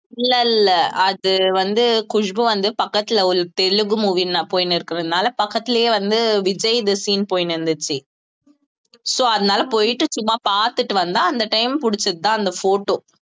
இல்ல இல்ல அது வந்து குஷ்பு வந்து பக்கத்துல ஒரு தெலுங்கு movie நான் போயினிருக்கிறதுனால பக்கத்துலயே வந்து விஜய்து scene போயின்னு இருந்துச்சு so அதனால போயிட்டு சும்மா பார்த்துட்டு வந்தா அந்த time பிடிச்சதுதான் அந்த photo